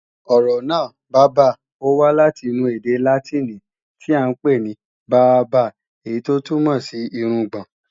Ọ̀rọ̀ náà, bábà, ó wá láti inú ède Látìnì tíì à ń pè ní "barba" èyí tó túmọ̀ sí irungbọ̀n